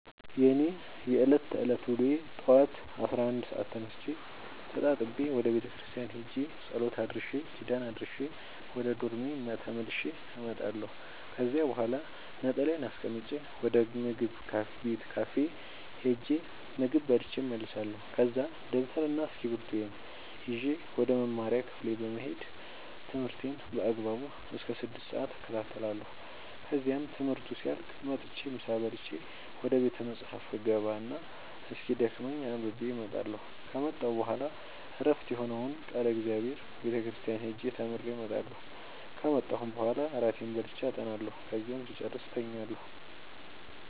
የእኔ የዕለት ተዕለት ውሎዬ ጠዋት አስራ አንድ ሰአት ተነስቼ ተጣጥቤ ወደ ቤተክርስቲያን ሄጄ ጸሎት አድርሼ ኪዳን አድርሼ ወደ ዶርሜ ተመልሼ እመጣለሁ ከዚያ በኋላ ነጠላዬን አስቀምጬ ወደ ምግብ ቤት ካፌ ሄጄ ምግብ በልቼ እመለሳለሁ ከዛ ደብተርና እስኪብርቶዬን ይዤ ወደ መማሪያ ክፍሌ በመሄድ ትምህርቴን በአግባቡ እስከ ስድስት ሰአት እከታተላለሁ ከዚያም ትምህርቱ ሲያልቅ መጥቼ ምሳ በልቼ ወደ ቤተ መፅሀፍ እገባ እና እስኪደክመኝ አንብቤ እመጣለሁ ከመጣሁ በኋላ ዕረፍት የሆነውን ቃለ እግዚአብሔር ቤተ ክርስቲያን ሄጄ ተምሬ እመጣለሁ ከመጣሁም በኋላ እራቴን በልቼ አጠናለሁ ከዚያም ስጨርስ እተኛለሁ።